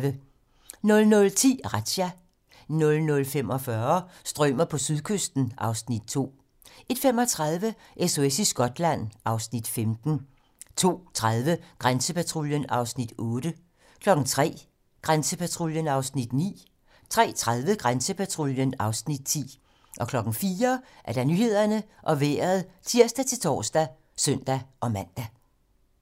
00:10: Razzia 00:45: Strømer på sydkysten (Afs. 2) 01:35: SOS i Skotland (Afs. 15) 02:30: Grænsepatruljen (Afs. 8) 03:00: Grænsepatruljen (Afs. 9) 03:30: Grænsepatruljen (Afs. 10) 04:00: Nyhederne og Vejret (tir-tor og søn-man)